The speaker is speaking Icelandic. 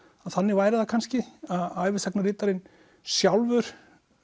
að þannig væri það kannski að ævisagnaritarinn sjálfur